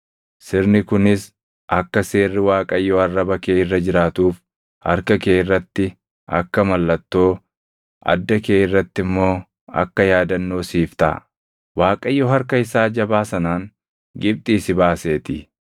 Sirni kunis akka seerri Waaqayyoo arraba kee irra jiraatuuf harka kee irratti akka mallattoo, adda kee irratti immoo akka yaadannoo siif taʼa. Waaqayyo harka isaa jabaa sanaan Gibxii si baaseetii.